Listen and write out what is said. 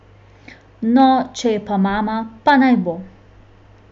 No, če je pa mama, pa naj bo.